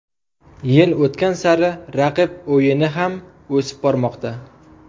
Yil o‘tgan sari raqib o‘yini ham o‘sib bormoqda.